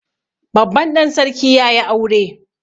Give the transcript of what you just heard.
Babban ɗan sarki ya yi aure